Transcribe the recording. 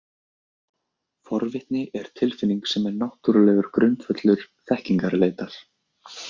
Forvitni er tilfinning sem er náttúrulegur grundvöllur þekkingarleitar.